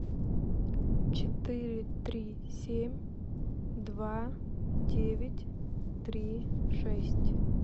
четыре три семь два девять три шесть